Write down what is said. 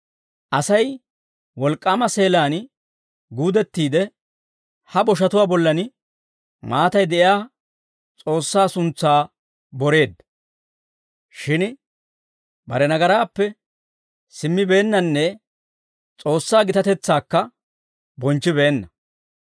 Asay wolk'k'aama seelaan guudettiide ha boshatuwaa bollan maatay de'iyaa S'oossaa suntsaa boreedda. Shin bare nagaraappe simmibeennanne S'oossaa gitatetsaakka bonchchibeenna.